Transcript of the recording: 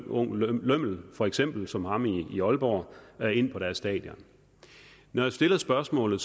ung fuld lømmel for eksempel som ham i aalborg ind på deres stadion når jeg stiller spørgsmålet